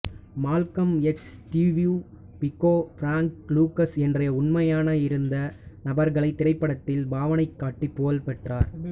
Malcolm X Steve Biko Frank Lucas என்றைய உண்மையாக இருந்த நபர்களை திரைப்படத்தில் பாவனைக்காட்டி புகழ்பெற்றார்